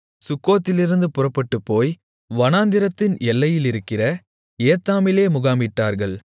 சுக்கோத்திலிருந்து புறப்பட்டுப்போய் வனாந்திரத்தின் எல்லையிலிருக்கிற ஏத்தாமிலே முகாமிட்டார்கள்